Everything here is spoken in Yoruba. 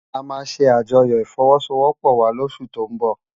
Amá sé ájòyò ifòwòsôwòpò wá lósú tó n bò